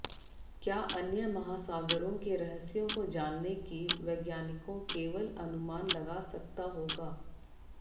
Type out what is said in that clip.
क्या अन्य महासागरों के रहस्यों को जानने की वैज्ञानिकों केवल अनुमान लगा सकता होगा